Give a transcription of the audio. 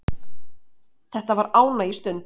Þetta var ánægjustund.